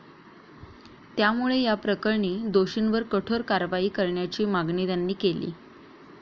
त्यामुळे याप्रकरणी दोषींवर कठोर कारवाई करण्याची मागणी त्यांनी केली.